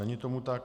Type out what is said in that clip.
Není tomu tak.